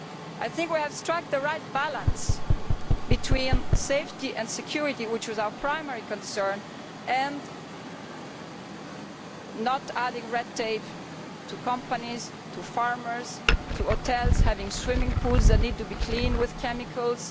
I think we have struck the right balance between safety and security, which was our primary concern, without adding red tape for companies, for farmers, or for hotels with swimming pools which need to be cleaned with chemicals.